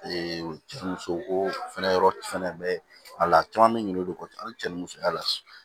cɛ ni muso ko fɛnɛ yɔrɔ fɛnɛ bɛ a la caman bɛ ɲinɛ o don kosɛbɛ hali cɛ ni musoya la